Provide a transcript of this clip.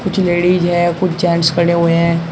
कुछ लेडिस है कुछ जेंट्स खड़े हुए हैं।